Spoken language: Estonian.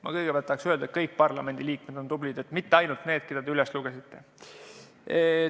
Ma kõigepealt tahan öelda, et kõik parlamendiliikmed on tublid, mitte ainult need, kelle te üles lugesite.